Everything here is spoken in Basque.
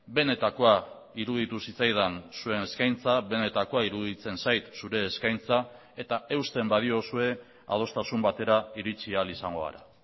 benetakoa iruditu zitzaidan zuen eskaintza benetakoa iruditzen zait zure eskaintza eta eusten badiozue adostasun batera iritsi ahal izango gara